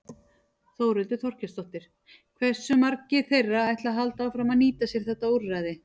Þórhildur Þorkelsdóttir: Hversu margir þeirra ætla að halda áfram að nýta sér þetta úrræði?